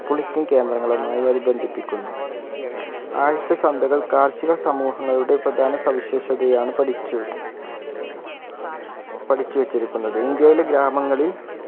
politan കേന്ദ്രങ്ങളുമായി അത് ബന്ധിപ്പിക്കുന്നു ആഴ്ച ചന്തകൾ കാർഷിക സമൂഹങ്ങളുടെ പ്രധാന സവിഷേതയാണ് പഠിച്ചു പഠിച്ചു വച്ചിരിക്കുന്നത് ഇന്ത്യയിലെ ഗ്രാമങ്ങളിൽ